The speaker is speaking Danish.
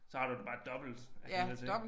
Så har du det bare dobbelt var jeg lige ved at sige